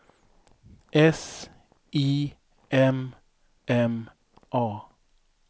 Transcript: S I M M A